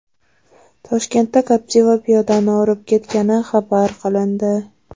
Toshkentda Captiva piyodani urib ketgani xabar qilindi.